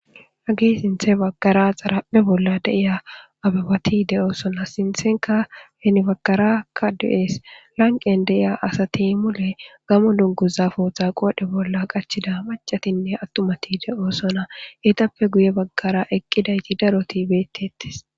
Age sinthe baggara xarapphe bolla deiya ababati de'oosona sinthenka henibaggarakka du'ees lanqen deiya asati mule gamo dunguza fooththa qoodhe bolla qachida macatinne attumati de'oosona hetappe guye baggara eqqidayti daroti beettettes.